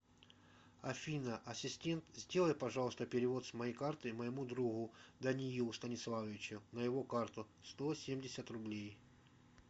афина ассистент сделай пожалуйста перевод с моей карты моему другу даниилу станиславовичу на его карту сто семьдесят рублей